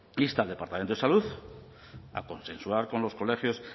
insta al departamento de salud a consensuar con los colegios